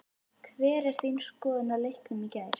Hver er þín skoðun á leiknum í gær?